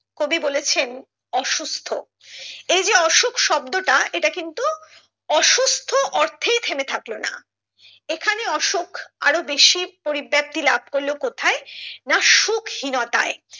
কবি বলেছেন অসুস্থ এই যে অসুখ শব্দটা এটা কিন্তু অসুস্থ অর্থেই থেমে থাকলো না এখানে অসুখ আরো বেশি পরিব্যাপ্তি লাভ করলো কোথায় না সুখহীনতায়